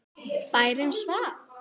Bærinn svaf.